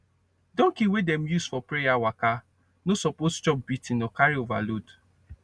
donkey wey dem dey use for prayer waka no suppose chop beating or carry overload